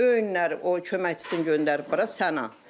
Öyünləri o köməkçisini göndərib bura Səna.